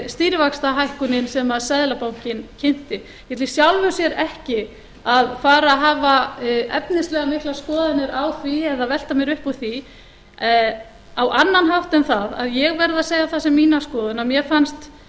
stýrivaxtahækkunin sem seðlabankinn kynnti mér finnst í sjálfu sér ekki að fara að hafa mjög miklar efnislegar miklar skoðanir á því eða velta mér upp úr því á annan hátt en það að ég verð að segja það sem mína skoðun að mér fannst